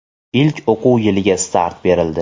ilk o‘quv yiliga start berildi.